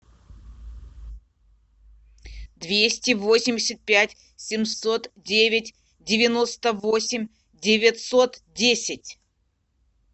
двести восемьдесят пять семьсот девять девяносто восемь девятьсот десять